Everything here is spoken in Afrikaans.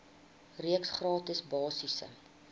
reeks gratis basiese